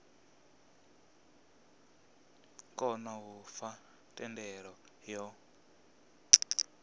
kona u fha thendelo yo